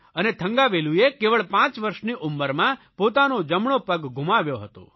અને થંગાવેલુએ કેવળ 5 વરસની ઉંમરમાં પોતાનો જમણો પગ ગુમાવ્યો હતો